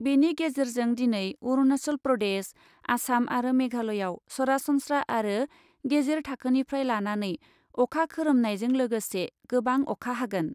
बेनि गेजेरजों दिनै अरुणाचल प्रदेश , आसाम आरो मेघालयआव सरासनस्रा आरो गेजेर थाखोनिफ्राय लानानै अखा खोरोमनायजों लोगोसे गोबां अखा हागोन ।